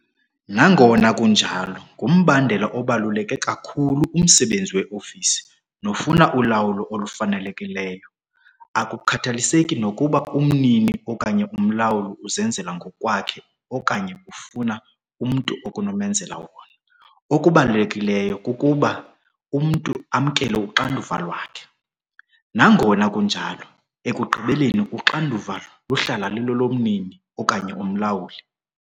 Nangona kunjalo, ngumbandela obaluleke kakhulu umsebenzi weofisi nofuna ulawulo olufanelekileyo. Akukhathaliseki nokuba umnini okanye umlawuli uzenzela ngokwakhe okanye ufumana umntu onokumenzela wona - okubalulekileyo kukuba umntu amkele uxanduva lwakhe. Nangona kunjalo ekugqibeleni uxanduva luhlala lulolomnini okanye umlawuli.